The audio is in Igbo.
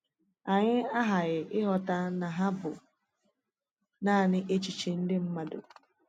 Anyị aghaghị ịghọta na hà bụ nanị èchìchè ndị mmadụ.